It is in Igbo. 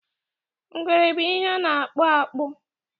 ngwere bu ihe na akpọ akpu